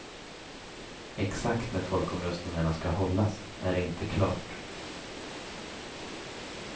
Exakt när folkomröstningarna ska hållas är inte klart.